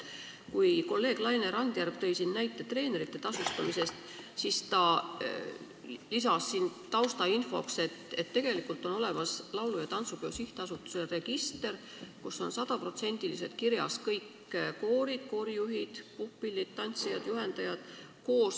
Kolleeg Laine Randjärv tõi siin näite treenerite tasustamisest ja lisas taustainfoks, et tegelikult on olemas laulu- ja tantsupeo sihtasutuse register, kus on 100%-liselt kirjas kõik koorid, koorijuhid, puhkpilliorkestrid, tantsijad ja juhendajad.